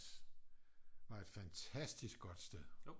Var et fantastisk godt sted